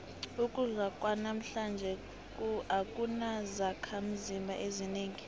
ukudla kwanamhlanje akunazakhimzimba ezinengi